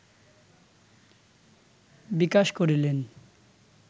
বিকাশ করিলেন